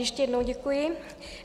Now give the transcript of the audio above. Ještě jednou děkuji.